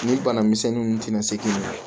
Ni bana misɛnnin nu tɛna se k'i minɛ